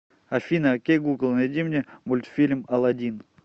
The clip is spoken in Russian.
афина окей гугл найди мне мультфильм аладдин